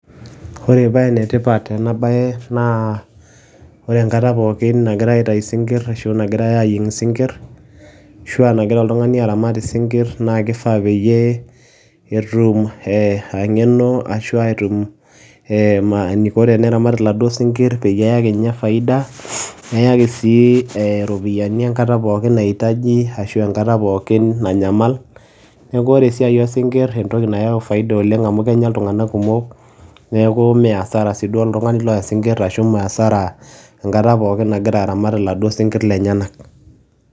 Ore paa ene tipat ena bae naa ore enkata pooki nagirae aitayu isinkir ashu nagirae ayieng isinkir ashua nagira oltungani aramat isinkir naa kifaa peyie etum engeno ashu etum eniko teneramat iladuo peyie eyaki ninye faida neyaki sii iropiyiani enkata pookin naitaji ashu enkata pookin nanyamal . Niaku ore esiai osinkir entoki nayau faida oleng amu kenya iltunganak kumok niaku mme asara siduo oltungani loya sinkir ashu mmee asara enkata pookin nagira aramat iladuo sinkir lenyenak .